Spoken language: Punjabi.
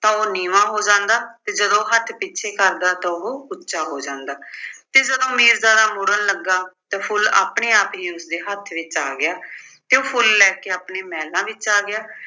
ਤਾਂ ਉਹ ਨੀਵਾਂ ਹੋ ਜਾਂਦਾ ਤੇ ਜਦੋਂ ਹੱਥ ਪਿੱਛੇ ਕਰਦਾ ਤਾਂ ਉਹ ਉੱਚਾ ਹੋ ਜਾਂਦਾ ਤੇ ਜਦੋਂ ਮੀਰਜ਼ਾਦਾ ਮੁੜਨ ਲੱਗਾ ਤਾਂ ਫੁੱਲ ਆਪਣੇ ਆਪ ਹੀ ਉਸਦੇ ਹੱਥ ਵਿੱਚ ਆ ਗਿਆ ਤੇ ਉਹ ਫੁੱਲ ਲੈ ਕੇ ਆਪਣੇ ਮਹਿਲਾਂ ਵਿੱਚ ਆ ਗਿਆ